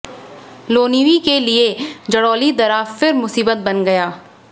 लोनिवि के लिए जलोड़ी दर्रा फि र मुसीबत बन गया है